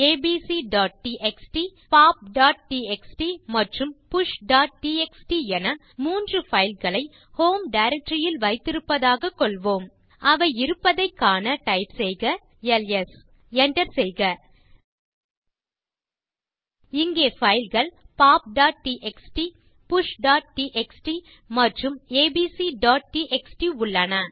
abcடிஎக்ஸ்டி popடிஎக்ஸ்டி மற்றும் pushடிஎக்ஸ்டி என 3 fileகளை ஹோம் டைரக்டரி ல் வைத்திருப்பதாக கொள்வோம் அவை இருப்பதைக் காண டைப் செய்க எல்எஸ் enter செய்க இங்கே fileகள் poptxtpushடிஎக்ஸ்டி மற்றும் abcடிஎக்ஸ்டி உள்ளன